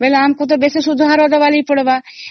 ଆମକୁ ବେଶି ସୁଧ ଦେବାକୁ ପଡିବ